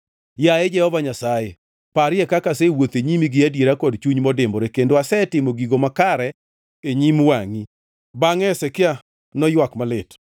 “Yaye Jehova Nyasaye, parie kaka asewuotho e nyimi gi adiera kod chuny modimbore kendo asetimo gigo makare e nyim wangʼi.” Bangʼe Hezekia noywak malit.